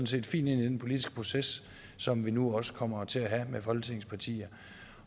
set fint ind i den politiske proces som vi nu også kommer til at have med folketingets partier